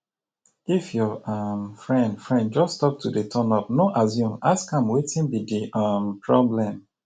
if your um friend friend just stop to dey turn up no assume ask am wetin be di um problem